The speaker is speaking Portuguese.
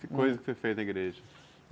Que coisa que você fez na igreja?